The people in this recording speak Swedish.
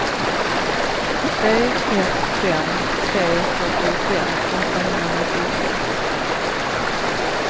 tre ett fem tre fyrtiofem åttahundranittiosex